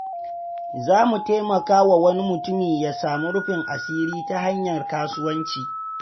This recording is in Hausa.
Za mu taimaka wa wani mutumi ya samu rufin asiri ta hanyar kasuwanci.